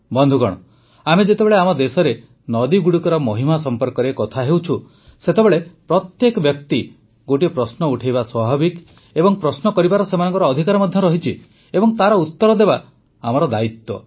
ବନ୍ଧୁଗଣ ଆମେ ଯେତେବେଳେ ଆମ ଦେଶରେ ନଦୀଗୁଡ଼ିକର ମହିମା ସମ୍ପର୍କରେ କଥା ହେଉଛୁ ସେତେବେଳେ ପ୍ରତ୍ୟେକ ବ୍ୟକ୍ତି ଗୋଟିଏ ପ୍ରଶ୍ନ ଉଠାଇବା ସ୍ୱାଭାବିକ ଏବଂ ପ୍ରଶ୍ନ କରିବାର ସେମାନଙ୍କ ଅଧିକାର ମଧ୍ୟ ରହିଛି ଏବଂ ତାର ଉତ୍ତର ଦେବା ଆମର ଦାୟିତ୍ୱ